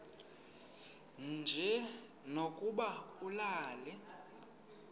nje lokuba ulale